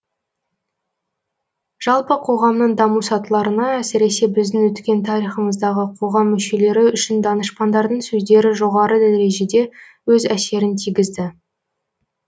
жалпы қоғамның даму сатыларына әсіресе біздің өткен тарихымыздағы қоғам мүшелері үшін данышпандардың сөздері жоғары дәрежеде өз әсерін тигізді